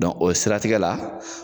o siratigɛ la